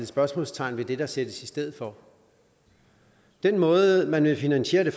spørgsmålstegn ved det der sættes i stedet for den måde man vil finansiere det